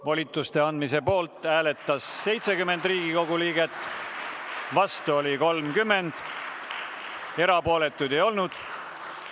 Volituste andmise poolt hääletas 70 Riigikogu liiget, vastu oli 30, erapooletuid ei olnud.